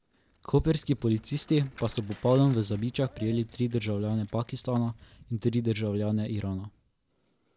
Koprski policisti pa so popoldan v Zabičah prijeli tri državljane Pakistana in tri državljane Irana.